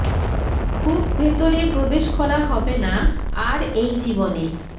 খুব ভেতরে প্রবেশ করা হবে না আর এই জীবনে